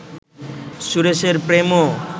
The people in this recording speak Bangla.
সুরেশের প্রেমও